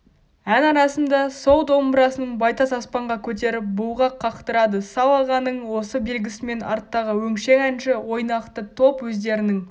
ән арасында сол домбырасын байтас аспанға көтеріп бұлғақ қақтырады сал-ағаның осы белгісімен арттағы өңшең әнші ойнақты топ өздерінің